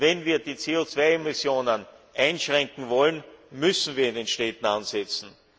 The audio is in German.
Wenn wir die CO 2 Emissionen einschränken wollen, müssen wir in den Städten ansetzen.